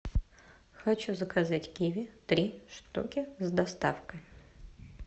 хочу заказать киви три штуки с доставкой